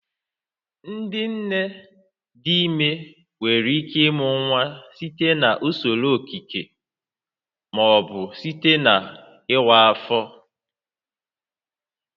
Ndị nne dị ime nwere ike ịmụ nwa site na usoro okike ma ọ bụ site n'ịwa ahụ